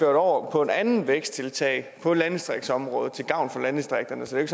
over på et andet væksttiltag på landdistriktsområdet til gavn for landdistrikterne så det